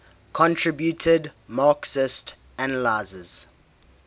contributed marxist analyses